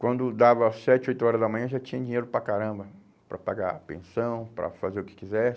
Quando dava sete, oito horas da manhã, eu já tinha dinheiro para caramba, para pagar a pensão, para fazer o que quisesse.